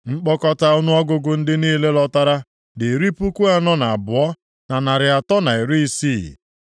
Nkpọkọta ọnụọgụgụ ndị niile lọtara dị iri puku anọ na abụọ, na narị atọ, na iri isii (42,360),